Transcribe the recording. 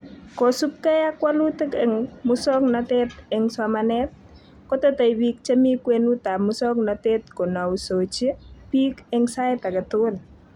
Kosubkei ak walutik eng musoknotet eng somanet ,kotetei bik chemi kwenutab musoknotet konousochi biik eng sait age tugul